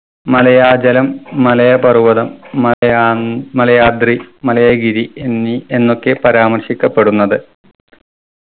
മലയാജലം മലയപർവതം മലയ ഉം മലയാദ്രി മലയഗിരി എന്നീ എന്നൊക്കെ പരാമർശിക്കപ്പെടുന്നത്.